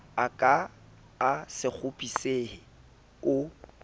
a ka a sekgopisehe o